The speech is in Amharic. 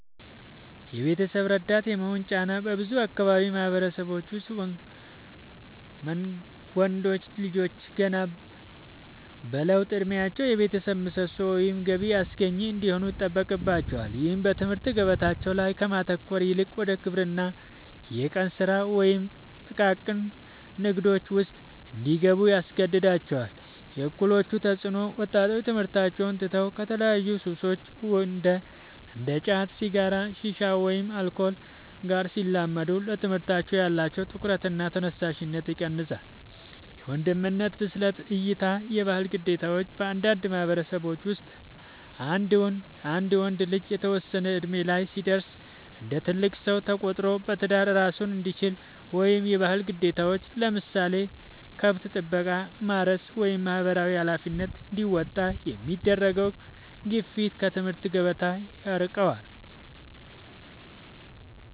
የቤተሰብ ረዳት የመሆን ጫና፦ በብዙ የአካባቢው ማህበረሰቦች ውስጥ ወንዶች ልጆች ገና በለውጥ እድሜያቸው የቤተሰብ ምሰሶ ወይም ገቢ አስገኚ እንዲሆኑ ይጠበቅባቸዋል። ይህም በትምህርት ገበታቸው ላይ ከማተኮር ይልቅ ወደ ግብርና፣ የቀን ስራ ወይም ጥቃቅን ንግዶች ውስጥ እንዲገቡ ያስገድዳቸዋል። የእኩዮች ተፅዕኖ፦ ወጣቶች ትምህርታቸውን ትተው ከተለያዩ ሱሶች (እንደ ጫት፣ ሲጋራ፣ ሺሻ ወይም አልኮል) ጋር ሲላመዱ ለትምህርታቸው ያላቸው ትኩረትና ተነሳሽነት ይቀንሳል። የወንድነት ብስለት እይታ (የባህል ግዴታዎች)፦ በአንዳንድ ማህበረሰቦች ውስጥ አንድ ወንድ ልጅ የተወሰነ እድሜ ላይ ሲደርስ እንደ ትልቅ ሰው ተቆጥሮ በትዳር እራሱን እንዲችል ወይም የባህል ግዴታዎችን (ለምሳሌ ከብት ጥበቃ፣ ማረስ ወይም ማህበራዊ ኃላፊነቶች) እንዲወጣ የሚደረገው ግፊት ከትምህርት ገበታ ያርቀዋል።